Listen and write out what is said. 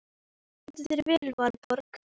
Þú stendur þig vel, Valborg!